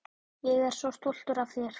Ég er svo stoltur af þér.